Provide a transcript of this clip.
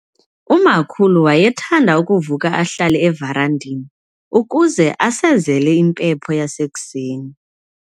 Umakhulu wayethanda ukuvuka ahlale everandeni ukuze asezele impepho yasekuseni.